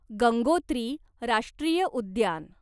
गंगोत्री राष्ट्रीय उद्यान